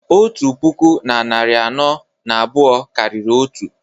otu puku na narị anọ na abụọ karịrị otu